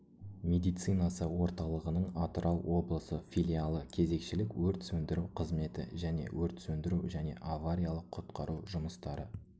медицинасы орталығының атырау облысы филиалы кезекшілік өрт сөндіру қызметі және өрт сөндіру және авариялық-құтқару жұмыстары